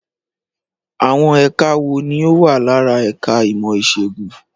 Àwọn ẹka wo ni ó wà lára ẹ̀ka ìmọ̀ Ìṣègùn?